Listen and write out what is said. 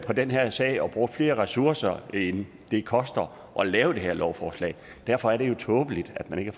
på den her sag og brugt flere ressourcer end det koster at lave det her lovforslag og derfor er det jo tåbeligt at man ikke